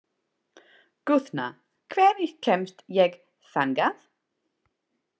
Guðna, hvernig kemst ég þangað?